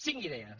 cinc idees